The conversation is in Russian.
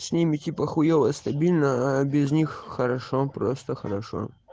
с ними типа хуевое стабильно а без них хорошо просто хорошо